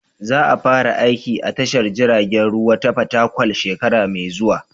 Za a fara aiki a tashar jiragen ruwa ta Fatakwal shekara mai zuwa.